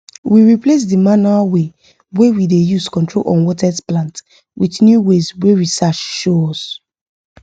we replace the manual way wey we dey use control unwanted plant with new ways wey research show us